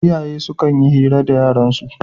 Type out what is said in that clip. Iyaye sukan yi hira da yaransu